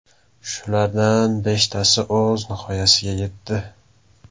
Shulardan beshtasi o‘z nihoyasiga yetdi.